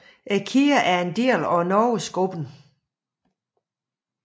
Kæden er en del af NorgesGruppen